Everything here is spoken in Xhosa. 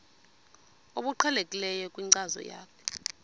obuqhelekileyo kwinkcazo yakho